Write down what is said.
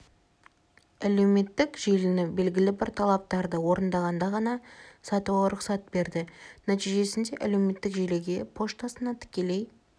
әлеуметтік желіні белгілі бір талаптарды орындағанда ғана сатуға рұқсат берді нәтижесінде әлеуметтік желіге поштасына тікелей